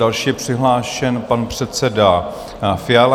Další je přihlášen pan předseda Fiala.